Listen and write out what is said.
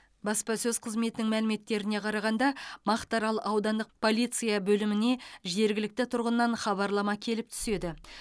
баспасөз қызметінің мәліметтеріне қарағанда мақтаарал аудандық полиция бөліміне жергілікті тұрғыннан хабарлама келіп түседі